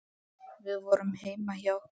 Við vorum heima hjá